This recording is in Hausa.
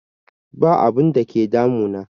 Ba abun da ke damu na